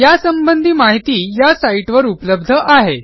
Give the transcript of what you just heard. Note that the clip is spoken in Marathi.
यासंबंधी माहिती या साईटवर उपलब्ध आहे